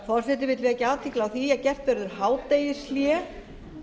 forseti vill vekja athygli á því að gert verður hádegishlé